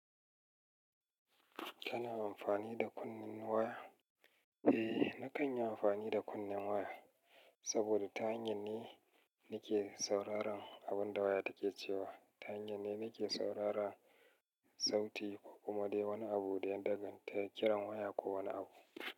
Kana amfani da kunnen waya? Eh nakan yi amfani da kunnen waya saboda ta hanyan ne nake sauraron abun da waya take cewa. Ta hanyan ne nake sauraran sauti ko kuma dai wani abu da ya daganta kiran waya ko wani abu.